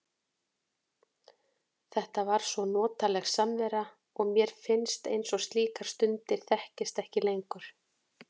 Þetta var svo notaleg samvera og mér finnst eins og slíkar stundir þekkist ekki lengur.